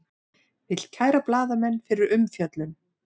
Vill kæra blaðamenn fyrir umfjöllun